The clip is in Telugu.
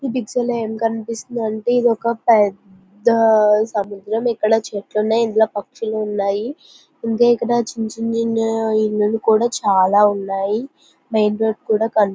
ఈ పిక్చర్ లొ ఏం కనిపిస్తుంది అంటే ఒక పెద్ద సముద్రం ఇక్కడ చెట్లు ఉన్నాయి ఇందులో పక్షులు ఉన్నాయి ఇంకా ఇక్కడ చిన్ని చిన్ని ఇల్లులు కూడా ఉన్నాయి మెయిన్ రోడ్డు కూడా కన --